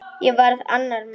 Ég varð annar maður.